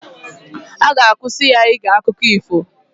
A ga-akwụsị ya ige akụkọ ifo